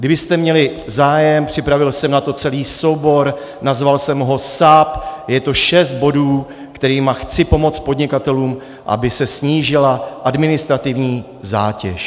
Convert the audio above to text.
Kdybyste měli zájem, připravil jsem na to celý soubor, nazval jsem ho SAP - je to šest bodů, kterými chci pomoci podnikatelům, aby se snížila administrativní zátěž.